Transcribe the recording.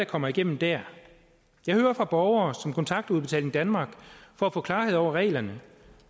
kommer igennem dér jeg hører fra borgere som kontakter udbetaling danmark for at få klarhed over reglerne